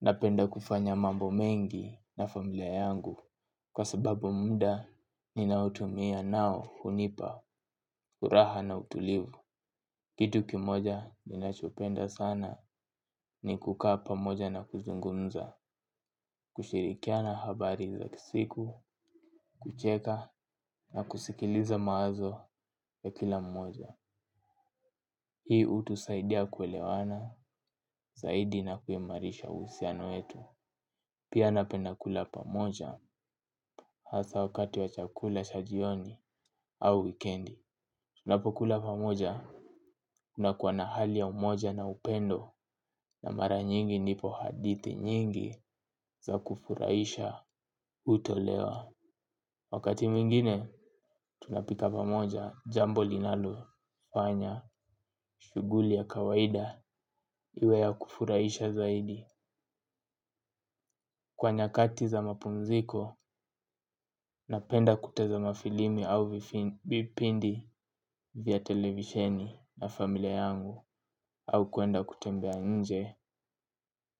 Napenda kufanya mambo mengi na familia yangu kwa sababu muda ninaotumia nao hunipa furaha na utulivu. Kitu kimoja ninachopenda sana ni kukaa pamoja na kuzungumza. Kushirikiana habari za kisiku, kucheka na kusikiliza mawazo ya kila mmoja. Hii hutusaidia kuelewana zaidi na kuimarisha uhusiano wetu. Pia napenda kula pamoja hasa wakati wa chakula cha jioni au wikendi. Tunapokula pamoja kunakuwa na hali ya umoja na upendo. Na mara nyingi ndipo hadithi nyingi za kufurahisha hutolewa wakati mwingine tunapika pamoja jambo linalofanya shughuli ya kawaida iwe ya kurahisha zaidi kwa nyakati za mapumziko napenda kutazama filimi au vipindi vya televisheni na familia yangu au kwenda kutembea nje